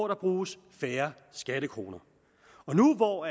der bruges færre skattekroner og nu hvor